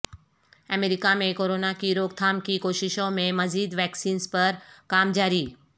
امریکہ میں کرونا کی روک تھام کی کوششوں میں مزید ویکسینز پر کام جاری